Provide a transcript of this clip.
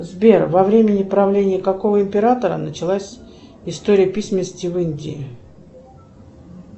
сбер во времени правления какого императора началась история письменности в индии